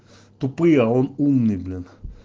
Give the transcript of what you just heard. тупые а он умный блин